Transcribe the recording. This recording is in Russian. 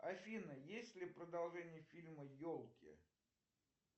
афина есть ли продолжение фильма елки